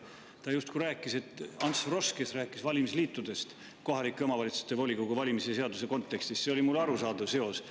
Ta rääkis justkui Ants Froschist, kes oli rääkinud valimisliitudest kohalike omavalitsuste volikogude valimise seaduse kontekstis, mis oli mulle arusaadav seos.